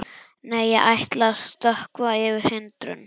Nei, ég ætla að stökkva yfir hindrun.